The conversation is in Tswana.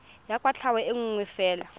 ya kwatlhao e nngwe fela